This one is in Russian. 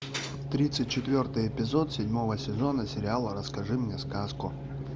тридцать четвертый эпизод седьмого сезона сериала расскажи мне сказку